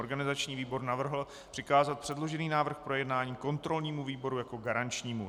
Organizační výbor navrhl přikázat předložený návrh k projednání kontrolnímu výboru jako garančnímu.